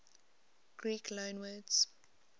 greek loanwords